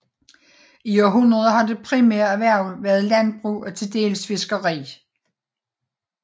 I århundreder har det primære erhverv været landbrug og tildels fiskeri